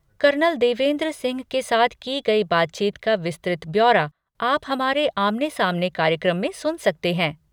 Colonel Devendra Singh के साथ की गई बातचीत का विस्तृत ब्यौरा आप हमारे आमने सामने कार्यक्रम में सुन सकते हैं।